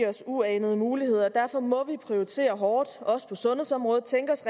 os uanede muligheder og derfor må vi prioritere hårdt også på sundhedsområdet tænke os